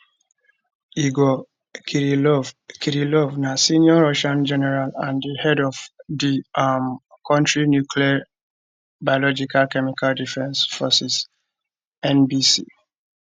igor kirillov kirillov na senior russian general and di head of di um kontri nuclear biological chemical defence forces nbc